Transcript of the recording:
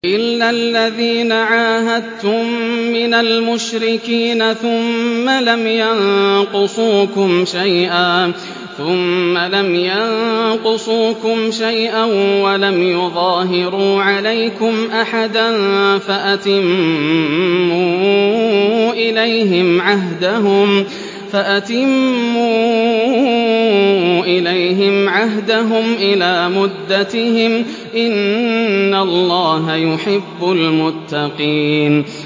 إِلَّا الَّذِينَ عَاهَدتُّم مِّنَ الْمُشْرِكِينَ ثُمَّ لَمْ يَنقُصُوكُمْ شَيْئًا وَلَمْ يُظَاهِرُوا عَلَيْكُمْ أَحَدًا فَأَتِمُّوا إِلَيْهِمْ عَهْدَهُمْ إِلَىٰ مُدَّتِهِمْ ۚ إِنَّ اللَّهَ يُحِبُّ الْمُتَّقِينَ